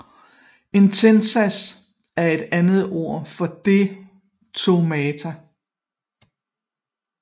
En tændsats er et andet ord for detonator